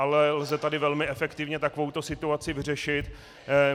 Ale lze tady velmi efektivně takovouto situaci vyřešit.